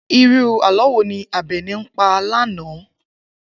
Irú àló̩ wo ni Àbè̩ní pa lánàá?